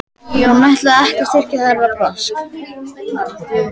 Hún ætlaði ekki að styrkja þeirra brask!